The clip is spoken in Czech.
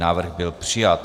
Návrh byl přijat.